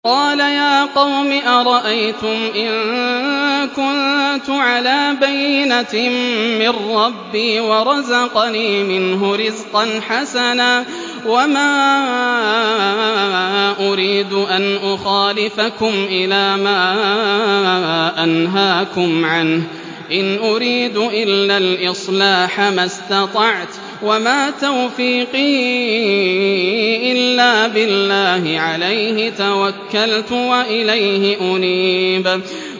قَالَ يَا قَوْمِ أَرَأَيْتُمْ إِن كُنتُ عَلَىٰ بَيِّنَةٍ مِّن رَّبِّي وَرَزَقَنِي مِنْهُ رِزْقًا حَسَنًا ۚ وَمَا أُرِيدُ أَنْ أُخَالِفَكُمْ إِلَىٰ مَا أَنْهَاكُمْ عَنْهُ ۚ إِنْ أُرِيدُ إِلَّا الْإِصْلَاحَ مَا اسْتَطَعْتُ ۚ وَمَا تَوْفِيقِي إِلَّا بِاللَّهِ ۚ عَلَيْهِ تَوَكَّلْتُ وَإِلَيْهِ أُنِيبُ